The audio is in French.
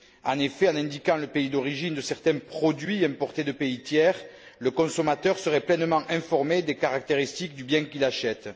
En effet, en indiquant le pays d'origine de certains produits importés de pays tiers, le consommateur serait pleinement informé des caractéristiques du bien qu'il achète.